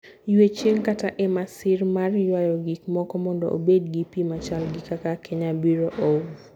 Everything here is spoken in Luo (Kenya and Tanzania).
Ywe e chieng' kata e masin mar ywayo gik moko mondo obed gi pi machal gi kaka Kenya Bureau of